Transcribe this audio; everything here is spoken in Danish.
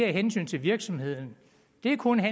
hensyn til virksomheden det er kun